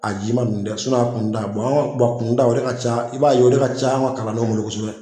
A jima ninnu tɛ a kunuta an ka kunuta o de ca i b'a ye o ka ca an ka kalandenw bolo kosɛbɛ